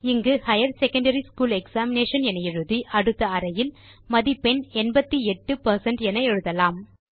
இங்கு higher secondary school examination என எழுதி அடுத்த அறையில் மதிப்பெண் 88 பெர்சென்ட் என எழுதலாம்